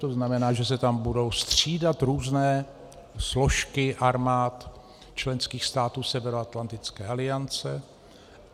To znamená, že se tam budou střídat různé složky armád členských států Severoatlantické aliance.